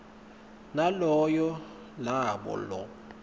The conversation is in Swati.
naloyo labo lo